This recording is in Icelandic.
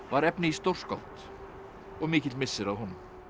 efni í stórskáld og mikill missir að honum